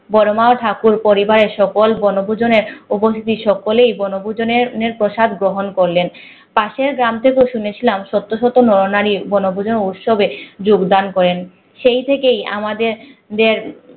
বড়মা ও ঠাকুর পরিবারের সকল বনভোজনের সকলেই বনভোজনের আহ প্রাসাদ গ্রহণ করলেন পাশের গ্রাম থেকেও শুনেছিলাম শত শত নর নারী বনভোজনের অনুষ্ঠানে যোগদান করেন সেই থেকেই আমাদের যে